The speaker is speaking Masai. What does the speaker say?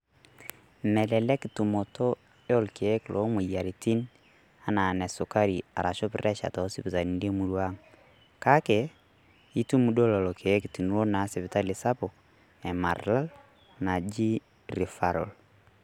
Melelek tumotoo oorkiek loo moyiarritin anaa nesukari arashu presha too sipitani emurrua ang' ,kaki etum doo lolo lkiek tiniloo sipitali sapuk e maralal naji rifarol.